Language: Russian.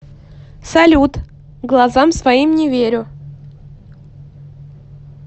салют глазам своим не верю